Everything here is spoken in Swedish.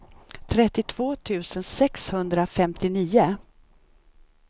trettiotvå tusen sexhundrafemtionio